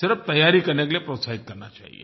सिर्फ़ तैयारी करने के लिए प्रोत्साहित करना चाहिये